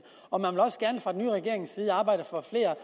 og man vil også gerne fra den nye regerings side arbejde for flere